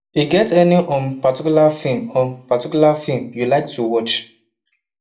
e get any um particular film um particular film you like to watch